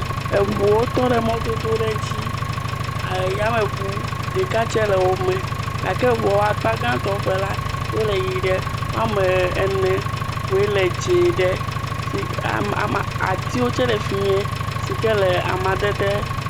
Eŋuwo tɔ ɖe mɔdodo ɖe dzi ayameŋu ɖeka tse le wome gake eŋua ƒe akpa gãtɔ tse la, wole ʋi ɖe woame ene koe le dzɛ̃ ɖe si… ama..ama.. atiwo tse le fi mie si ke le amadede.